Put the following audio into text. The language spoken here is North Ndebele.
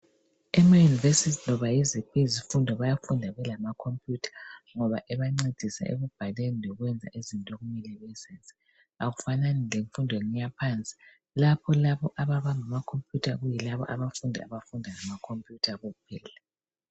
Ema university loba yiziphi isifundo bayafunda belamacomputer, ngoba ebancedisa ekubhaleni, lokwenza izinto okumele bazenze. Kakufanani lemfundweni yaphansi lapha labo abafunda ngamacomputer kuyilabo abafunda ngamacomputer kuphela.